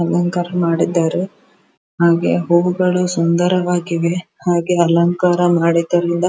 ಅಲಂಕಾರ ಮಾಡಿದ್ದಾರೆ ಹಾಗು ಹೂವುಗಳು ಸುಂದರವಾಗಿದೆ ಹಾಗೆ ಅಲಂಕಾರ ಮಾಡಿದ್ದರಿಂದ--